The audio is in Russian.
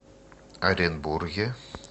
оренбурге